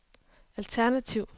alternativ